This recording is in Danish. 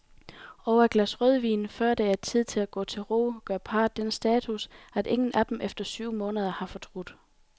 Over et glas rødvin, før det er tid at gå til ro, gør parret den status, at ingen af dem efter syv måneder har fortrudt.